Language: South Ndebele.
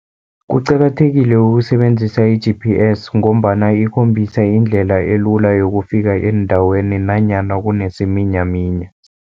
Kuqakathekile ukusebenzisa i-G_P_S, ngombana ikhombisa indlela elula yokufika eendaweni nanyana kunesiminyaminya.